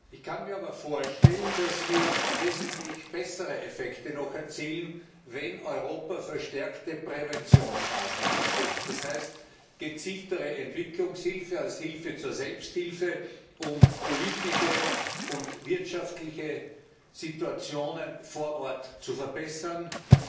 Ich kann mir aber vorstellen, dass wir noch wesentlich bessere Effekte erzielen, wenn Europa verstärkte Präventionsmaßnahmen setzt das heißt gezieltere Entwicklungshilfe als Hilfe zur Selbsthilfe, um politische und wirtschaftliche Situationen vor Ort zu verbessern wenn